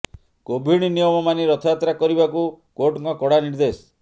Covid ନିୟମ ମାନି ରଥଯାତ୍ରା କରିବାକୁ କୋର୍ଟଙ୍କ କଡ଼ା ନିର୍ଦେଶ